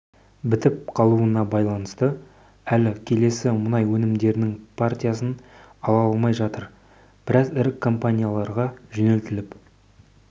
бітіп қалуына байланысты әлі келесі мұнай өнімдерінің партиясын ала алмай жатыр біраз ірі компанияларға жөнелтіліп